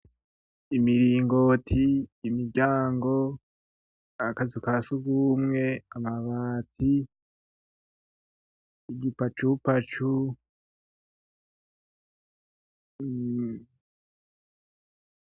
Imiringoti, imiryango, akazu ka surwumwe, amabati, igipacupacu.